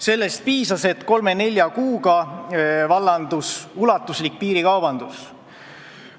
Sellest piisas, et kolme-nelja kuuga vallanduks ulatuslik piirikaubandus.